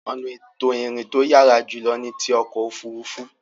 Ọ̀nà ètò ìrìn to yàrá jùlọ ni ti ọkọ̀ òfuurufú.